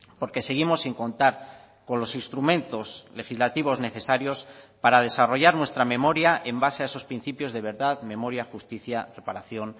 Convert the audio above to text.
porque seguimos sin contar con los instrumentos legislativos necesarios para desarrollar nuestra memoria en base a esos principios de verdad memoria justicia reparación